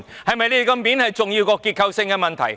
他們的面子，是否重要過結構性問題？